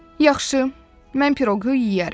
Yaxşı, mən piroqu yeyərəm.